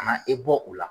Ka na e bɔ u la